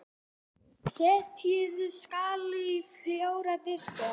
Setjið salatið á fjóra diska.